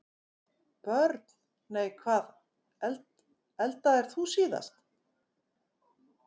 Börn: Nei Hvað eldaðir þú síðast?